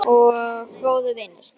Og góður vinur.